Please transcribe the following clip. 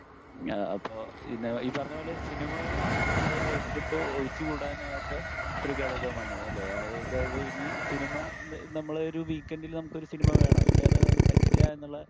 അപ്പൊ ഈ പറഞ്ഞപോലെ സിനിമകള് നമ്മുടെ ലൈഫിൽ ഇപ്പൊ ഒഴിച്ച് കൂടാൻ ആവാത്ത ഒരു ഘടകമാണ് അല്ലെ? അതായത് ഇനി സിനിമ, നമ്മളെ ഒരു വീക്കെഡിൽ നമുക്കൊരു സിനിമ വേണം ഇല്ലാതെ പറ്റില്ല എന്നുള്ള